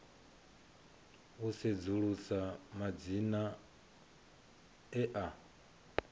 u sedzulusa madzina e a